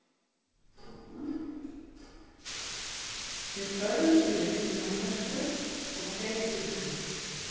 Við börðumst í leiknum af hörku og þeir líka.